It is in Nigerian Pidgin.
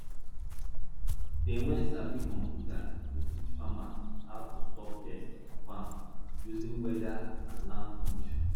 dem wey sabi computer dey teach farmers how to stop pest for farm using weather and land conditions